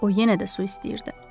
O yenə də su istəyirdi.